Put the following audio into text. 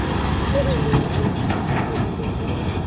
o loileng o itoile ka